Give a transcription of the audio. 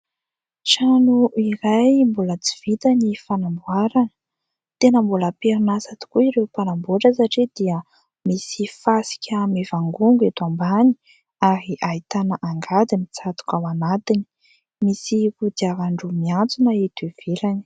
Trano iray mbola tsy vita ny fanamboarana, tena mbola am-perin'asa tokoa ireo mpanambotra satria dia misy fasika mivangongo eto ambany ary ahitana angady mitsatoka ao anatiny, misy kodiaran-droa miantsona eto ivelany.